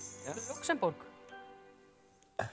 Lúxemborg